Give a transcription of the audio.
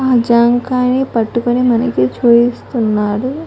ఆ జామకాయని పట్టుకొని మనకి చూపిస్తూ ఉన్నారు